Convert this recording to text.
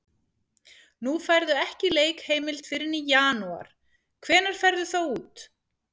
Nú færðu ekki leikheimild fyrr en í janúar, hvenær ferðu þá út?